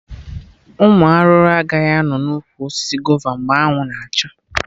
Ụmụ arụrụ agaghị anọ na ụkwụ osisi gova mgbe anwụ na acha